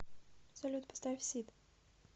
салют поставь сид